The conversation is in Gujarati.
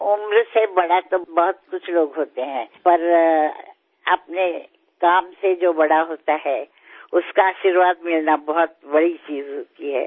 વયમાં મોટા તો ઘણા કેટલાક લોકો હોય છે પરંતુ પોતાના કામથી જે મોટું હોય છે તેમના આશીર્વાદ મળવો એ મોટી બાબત હોય છે